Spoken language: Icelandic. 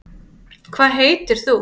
hvað heitir þú